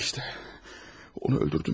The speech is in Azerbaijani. İşte, onu öldürdüm.